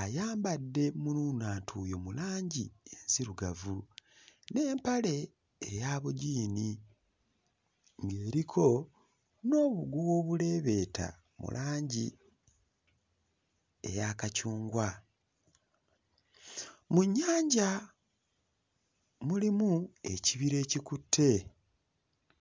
ayambadde munuunantuuyo mu langi enzirugavu n'empale eya bujiini, ng'eriko n'obuguwa obuleebeeta mu langi eya kacungwa. Mu nnyanja mulimu ekibira ekikutte.